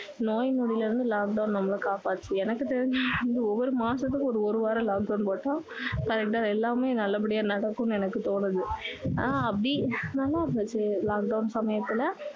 நோய் நொடில இருந்து lockdown நம்மள காப்பாத்துச்சு எனக்கு தெரிஞ்சு ஒவ்வொரு மாசத்துக்கும் ஒரு வாரம் lockdown போட்டா correct ஆ எல்லாமே நல்ல படியா நடக்கும்னு எனக்கு தோணுது ஆனா அப்படி நல்லா இருந்துச்சு lockdown சமயத்துல